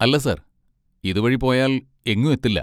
അല്ല സർ, ഇതുവഴി പോയാൽ എങ്ങും എത്തില്ല.